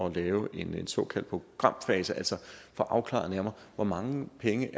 at lave en såkaldt programfase altså at få afklaret nærmere hvor mange penge